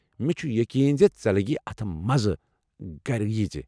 مےٚ چھُ یقیٖن زِ ژےٚ لگی اتھ مزٕ، گھرٕ ییٖزِ!